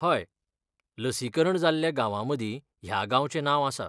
हय, लसीकरण जाल्ल्या गांवामदीं ह्या गांवचें नांव आसा.